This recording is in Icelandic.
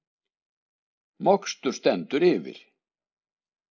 Mokstur stendur yfir